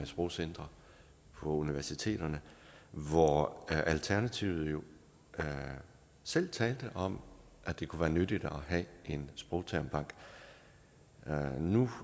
sprogcentre på universiteterne hvor alternativet selv talte om at det kunne være nyttigt at have en sprogtermbank nu